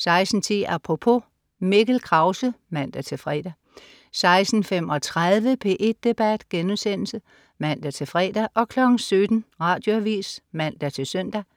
16.10 Apropos. Mikkel Krause (man-fre) 16.35 P1 Debat* (man-fre) 17.00 Radioavis (man-søn)